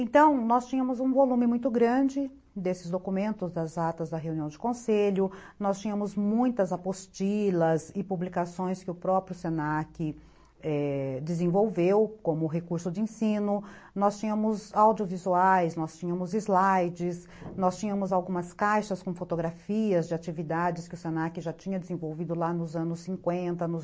Então, nós tínhamos um volume muito grande desses documentos das atas da reunião de conselho, nós tínhamos muitas apostilas e publicações que o próprio se na que desenvolveu como recurso de ensino, nós tínhamos audiovisuais, nós tínhamos slides, nós tínhamos algumas caixas com fotografias de atividades que o se na que já tinha desenvolvido lá nos anos cinquenta